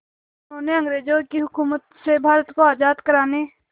जिन्होंने अंग्रेज़ों की हुकूमत से भारत को आज़ाद कराने